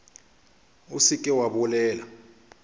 o se ke wa bolela